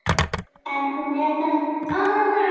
En hún var þarna á vappinu.